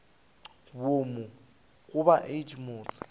boomo ga bo age motse